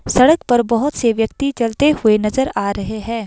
सड़क पर बहुत से व्यक्ति चलते हुए नजर आ रहे हैं।